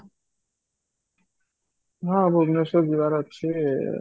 ହଁ ଭୁବନେଶ୍ୱର ଯିବାର ଅଛି